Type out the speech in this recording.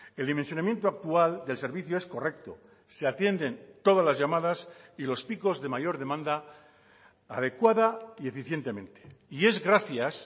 el dimensionamiento actual del servicio es correcto se atienden todas las llamadas y los picos de mayor demanda adecuada y eficientemente y es gracias